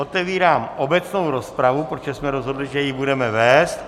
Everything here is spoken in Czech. Otevírám obecnou rozpravu, protože jsme rozhodli, že ji budeme vést.